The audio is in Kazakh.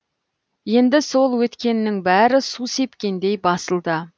енді сол өткеннің бәрі су сепкендей басылды